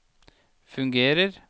fungerer